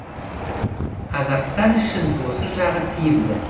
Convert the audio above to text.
қазақстан үшін осы жағы тиімді